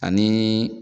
Ani